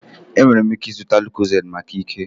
Ị nwere ike ịzụta lucozade maka ike